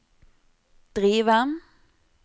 drive